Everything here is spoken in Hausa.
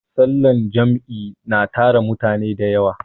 sallar Jam'i na tara mutane da yawa